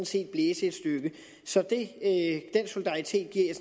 set blæse et stykke så den solidaritet giver jeg